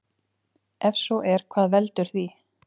Ef svo er hvað veldur því?